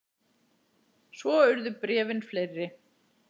Svo urðu bréfin fleiri.